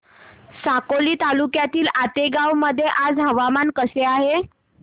साकोली तालुक्यातील आतेगाव मध्ये आज हवामान कसे आहे